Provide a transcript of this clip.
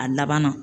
A laban na